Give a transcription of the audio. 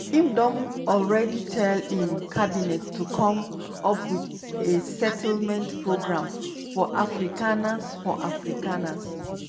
im don already tell im cabinet to come up wit a settlement program for afrikaners for afrikaners